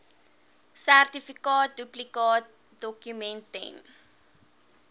sertifikaat duplikaatdokument ten